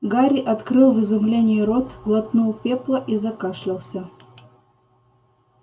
гарри открыл в изумлении рот глотнул пепла и закашлялся